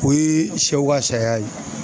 O yee sɛw ka saya ye